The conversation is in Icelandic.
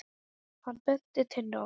Hann benti Tinnu á það.